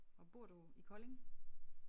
Og bor du i Kolding?